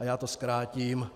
A já to zkrátím.